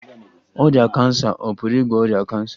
Ọrịa kansa ọ̀ pụrụ ịgwọ ọrịa kansa?